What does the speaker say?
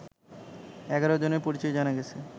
১১ জনের পরিচয় জানা গেছে